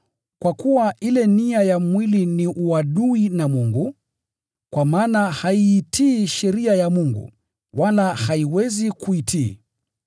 Kwa kuwa ile nia ya mwili ni uadui na Mungu, kwa maana haiitii sheria ya Mungu, wala haiwezi kuitii.